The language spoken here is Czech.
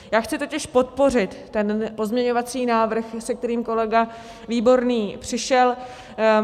Já chci totiž podpořit ten pozměňovací návrh, se kterým kolega Výborný přišel.